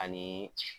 Ani